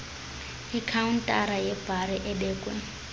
ikhawuntala yebhari ebekwe